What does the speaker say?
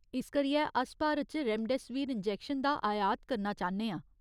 इस करियै अस भारत च रेमडेसिविर इंजैक्शन दा आयात करना चाह्न्ने आं।